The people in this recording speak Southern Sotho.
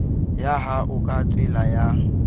ya hao ka tsela ya